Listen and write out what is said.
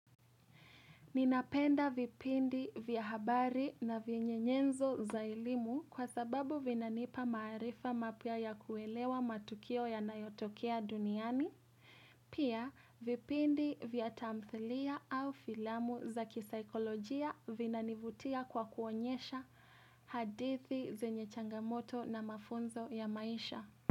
Ninapenda vipindi vya habari na vyenye nyenzo za elimu kwa sababu vinanipa maarifa mapya ya kuelewa matukio yanayotokea duniani. Pia, vipindi vya tamthilia au filamu za kisaikolojia vinanivutia kwa kuonyesha hadithi zenye changamoto na mafunzo ya maisha.